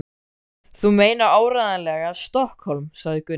Þú meinar áreiðanlega STOKKHÓLM, sagði Gunni.